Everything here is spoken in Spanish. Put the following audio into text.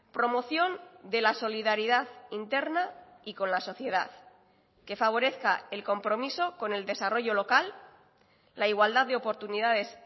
promoción de la solidaridad interna y con la sociedad que favorezca el compromiso con el desarrollo local la igualdad de oportunidades